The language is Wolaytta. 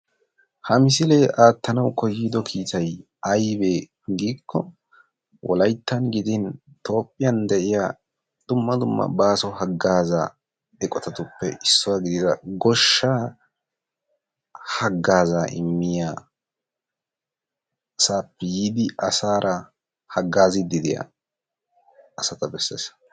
ha misile aattanaw kohido kiittay aybbe giiko Wolayttan gidin Toophiya de'iya dumma dumma baaso haggaza eqotatuppe issuwa gidida goshshaa haggaaza immiyasaa yiidi asaara haggaziddi diya asata bessees.